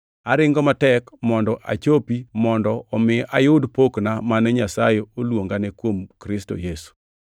aringo matek mondo achopi mondo omi ayud pokna mane Nyasaye oluongane kuom Kristo Yesu.